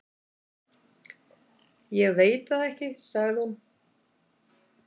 """Ég veit það ekki, sagði hún."""